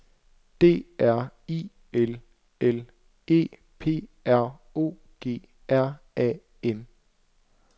D R I L L E P R O G R A M